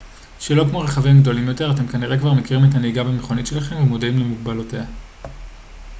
שלא כמו רכבים גדולים יותר אתם כנראה כבר מכירים את הנהיגה במכונית שלכם ומודעים למגבלותיה